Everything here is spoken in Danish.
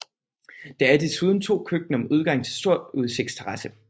Der er desuden 2 køkkener med udgang til stor udsigtsterrasse